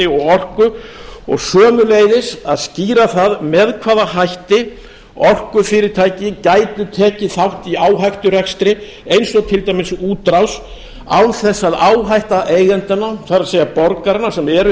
og orku og sömuleiðis að skýra það með hvaða hætti orkufyrirtæki gætu tekið þátt í áhætturekstri eins og til dæmis útrás án þess að áhætta eigendanna það er borgaranna sem eru